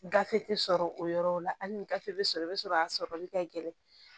Gafe tɛ sɔrɔ o yɔrɔw la hali ni gafe bɛ sɔrɔ i bɛ sɔrɔ a sɔrɔli ka gɛlɛn